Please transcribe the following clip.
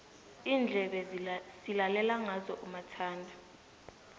iindlebe silalela ngazo umathanda